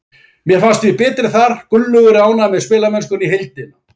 Mér fannst við betri þar. Gunnlaugur er ánægður með spilamennskuna í heildina.